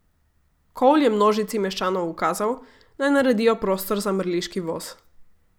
Cole je množici meščanov ukazal, naj naredijo prostor za mrliški voz.